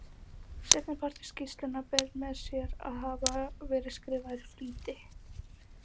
Seinnipartur skýrslunnar ber með sér að hafa verið skrifaður í flýti.